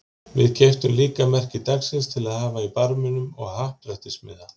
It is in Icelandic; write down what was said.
Við keyptum líka merki dagsins til að hafa í barminum og happdrættismiða.